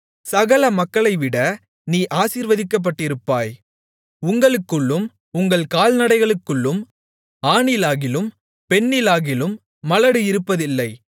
சகல மக்களைவிட நீ ஆசீர்வதிக்கப்பட்டிருப்பாய் உங்களுக்குள்ளும் உங்கள் கால்நடைகளுக்குள்ளும் ஆணிலாகிலும் பெண்ணிலாகிலும் மலடு இருப்பதில்லை